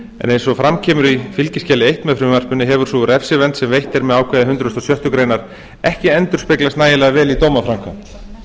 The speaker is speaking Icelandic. eins og fram kemur í fylgiskjali eins með frumvarpinu hefur sú refsivernd sem veitt er með ákvæði hundrað og sjöttu grein ekki endurspeglast nægjanlega vel í dómaframkvæmd